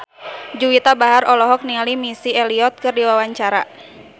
Juwita Bahar olohok ningali Missy Elliott keur diwawancara